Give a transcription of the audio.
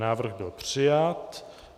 Návrh byl přijat.